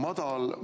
Aitäh!